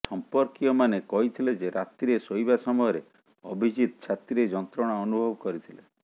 ସମ୍ପର୍କୀୟମାନେ କହିଥିଲେ ଯେ ରାତିରେ ଶୋଇବା ସମୟରେ ଅଭିଜିତ ଛାତିରେ ଯନ୍ତ୍ରଣା ଅନୁଭବ କରିଥିଲେ